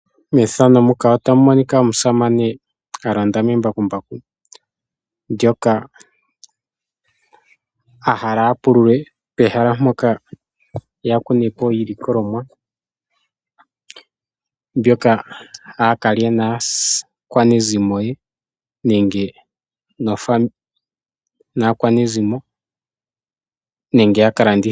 Methano muka otamunika omusamane a londa membakumbaku ndjoka ahala apulule pehala mpoka yakune po iilikolomwa mbyoka aakalya naakwanezimo ye nenge naakwanezimo nenge ya kala ndithe